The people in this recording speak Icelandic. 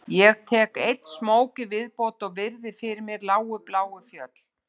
Ég tek einn smók í viðbót og virði fyrir mér lágu bláu fjöll